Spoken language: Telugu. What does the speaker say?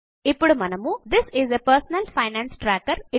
ఇప్పుడు మనము this is A personal finance tracker